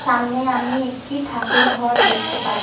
সামনে আমি একটি ঠাকুর ঘর দেখতে পাহ--